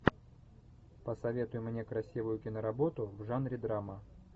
посоветуй мне красивую киноработу в жанре драма